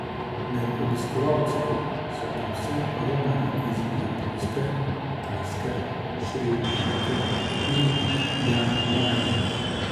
Med obiskovalci so predvsem romarji iz Japonske, Tajske, Šri Lanke in Mjanmarja.